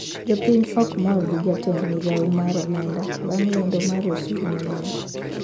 Jopiny okmor gi jatend migao mar omenda bang` lendo mar usuru manyien